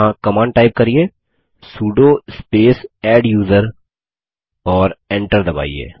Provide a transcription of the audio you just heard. यहाँ command type करिये sudo space adduser और Enter दबाइए